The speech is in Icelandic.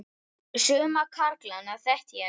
Suma karlana þekkti ég nokkuð.